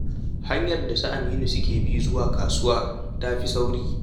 Hanyar da su Aminu suke bi zuwa kasuwa ta fi sauri.